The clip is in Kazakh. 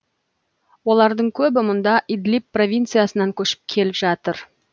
олардың көбі мұнда идлиб провинциясынан көшіп келіп жатыр